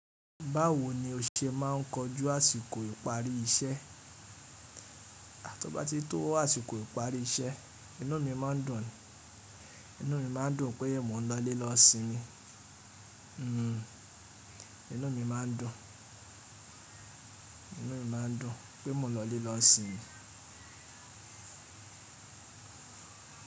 Báwo ni o ṣe máà ń kojú àsìkò ìparí iṣẹ́? Tó bá ti tó àsìkò ìparí iṣẹ́, inú mi máa ń dùn, inú mi máa ń dùn pé mó n lọlé lọ sinmi. Hhm, inú mi má ń dùn, inú mi máa ń dùn, pé mó lọlé lọ sinmi.